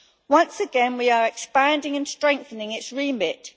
Once again, we are expanding and strengthening its remit.